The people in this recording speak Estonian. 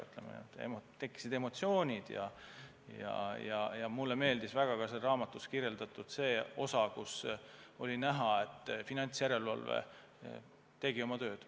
Ütleme, mul tekkisid emotsioonid ja mulle meeldis väga selles raamatus see osa, kust oli näha, et finantsjärelevalve tegi oma tööd.